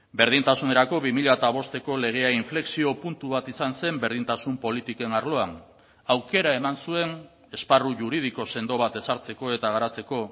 berdintasunerako bi mila bosteko legea inflexio puntu bat izan zen berdintasun politiken arloan aukera eman zuen esparru juridiko sendo bat ezartzeko eta garatzeko